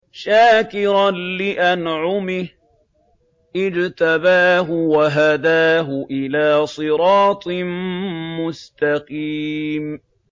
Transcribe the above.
شَاكِرًا لِّأَنْعُمِهِ ۚ اجْتَبَاهُ وَهَدَاهُ إِلَىٰ صِرَاطٍ مُّسْتَقِيمٍ